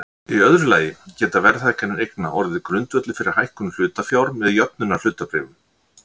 Í öðru lagi geta verðhækkanir eigna orðið grundvöllur fyrir hækkun hlutafjár með jöfnunarhlutabréfum.